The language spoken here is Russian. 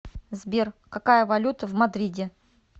сбер какая валюта в мадриде